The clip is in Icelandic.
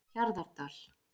Hjarðardal